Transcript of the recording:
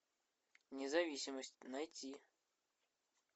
независимость найти